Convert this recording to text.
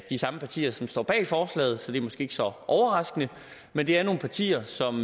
samme partier som står bag forslaget så det er måske ikke så overraskende men det er nogle partier som